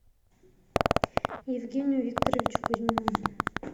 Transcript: евгению викторовичу кузьмину